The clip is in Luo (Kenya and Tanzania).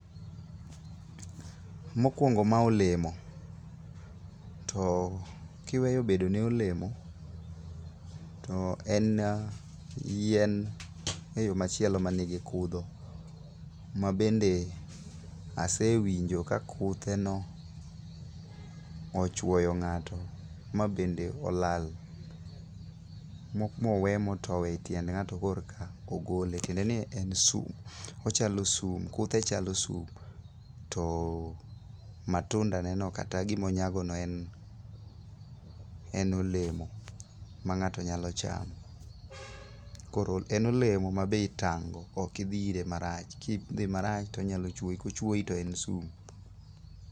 Mokuongo mae en olemo to kiweyo bedo ne olemo, to en yien eyo machielo man gi kudho. Mabende asewinjo ka kutheno ochuoyo ng'ato ma bende olal mowe motow etiend ng'ato eka ogol tiende ni en sum, kutheno chalo sum to matundaneno kata gima onyagone en olemo mang'ato nyalo chamo, koro en olemo ma be itang' go ok idhi nire marach, kidhi marach to onyalo chuoyi to kochuoyi to en sum.